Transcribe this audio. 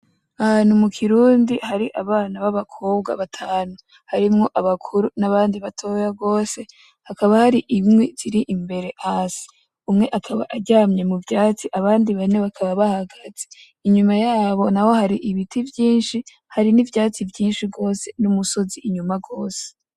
Ahantu mukirundi hari abana babakobwa batanu harimwo abakuru nabandi batoyi gose cane hakaba hari inkwi imbere yabo hasi umwe akaba aryamye muvyatsi abandi bane bakaba bahagaze inyuma yabo naho hakaba hari ibiti vyishi hari nivyatsi vyishi gose numusozi inyuma gose